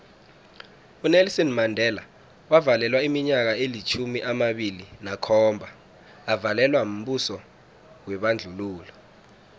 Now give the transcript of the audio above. unelson mandela wavalelwa iminyaka elitjhumi amabili nakhomba avalelwa mbuso webandlululo